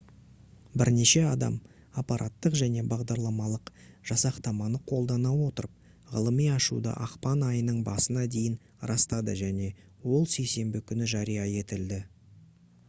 бірнеше адам апараттық және бағдарламалық жасақтаманы қолдана отырып ғылыми ашуды ақпан айының басына дейін растады және ол сейсенбі күні жария етілді